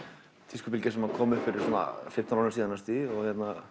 tískubylgja sem kom upp fyrir svona fimmtán árum síðan og